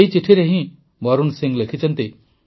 ଏହି ଚିଠିରେ ହିଁ ବରୁଣ ସିଂ ଲେଖିଛନ୍ତି